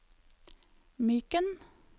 Myken